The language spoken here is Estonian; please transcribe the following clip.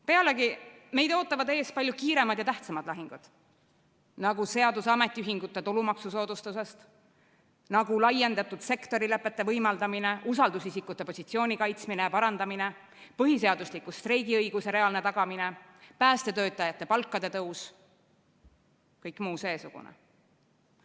Pealegi, meid ootavad ees palju kiiremad ja tähtsamad lahingud, nagu seadus ametiühingute tulumaksusoodustusest, nagu laiendatud sektorilepete võimaldamine, usaldusisikute positsiooni kaitsmine ja parandamine, põhiseadusliku streigiõiguse reaalne tagamine, päästetöötajate palkade tõus, kõik muu seesugune.